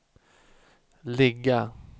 ligga